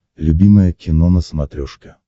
любимое кино на смотрешке